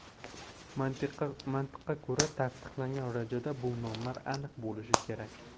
Mantiqqa ko‘ra, tasdiqlangan rejada bu nomlar aniq bo‘lishi kerak.